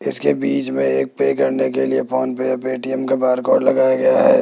इसके बीच में एक पे करने के लिए फोन पे पेटीएम का बारकोड लगाया गया है।